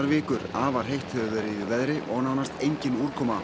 vikur afar heitt hefur verið í veðri og nánast engin úrkoma